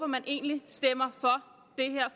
man egentlig stemmer